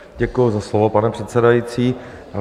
Děkuji za slovo, pane předsedající.